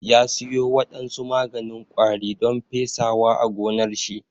Ya siyo wadansu maganin ƙwari don pesawa a gonnar shi